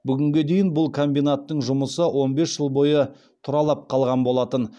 бүгінге дейін бұл комбинаттың жұмысы он бес жыл бойы тұралап қалған болатын